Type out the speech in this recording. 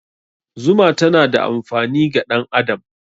Zuma tana da amfani ga ɗan adam.